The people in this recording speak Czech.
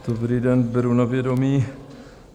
Dobrý den, beru na vědomí.